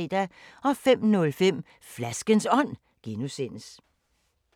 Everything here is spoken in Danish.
05:05: Flaskens Ånd (G)